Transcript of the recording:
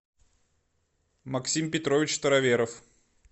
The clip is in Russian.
максим петрович староверов